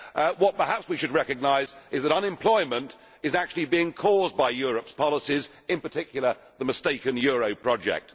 What perhaps we should recognise is that unemployment is actually being caused by Europe's policies, in particular the mistaken euro project.